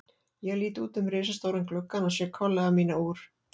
Ég lít út um risastóran gluggann og sé kollega mína úr